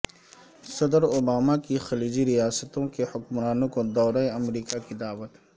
صدراوباما کی خلیجی ریاستوں کے حکمرانوں کو دورہ امریکہ کی دعوت